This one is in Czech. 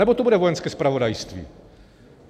Anebo to bude Vojenské zpravodajství?